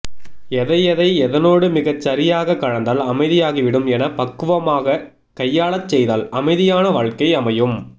எதையெதை எதனோடு மிகச்சரியாக கலந்தால் அமைதியாகிவிடும் என பக்குவமாக கையாளச்செய்தால் அமைதியான வாழ்க்கை அமையும்